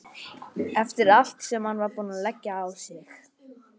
Eftir allt sem hann var búinn að leggja á sig!